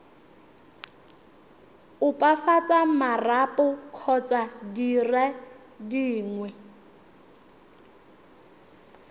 opafatsa marapo kgotsa dire dingwe